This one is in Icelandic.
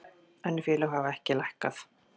Önnur félög hafa ekki lækkað